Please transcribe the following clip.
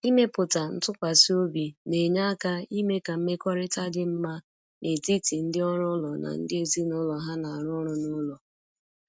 Ịmepụta ntụkwasị obi na-enye aka ime ka mmekọrịta dị mma n’etiti ndị ọrụ ụlọ na ndị ezinụlọ ha na-arụ ọrụ n’ụlọ.